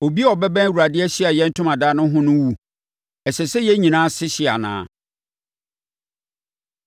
Obiara a ɔbɛbɛn Awurade Ahyiaeɛ Ntomadan no ho no wu. Ɛsɛ sɛ yɛn nyinaa ase hye anaa?”